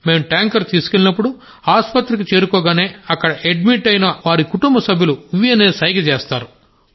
మేం ట్యాంకర్ తీసుకువెళ్ళినప్పుడు ఆసుపత్రికి చేరుకోగానే అక్కడ అడ్మిట్ అయి ఉన్న వారి కుటుంబసభ్యులు వ్ అనే సైగ చేస్తారు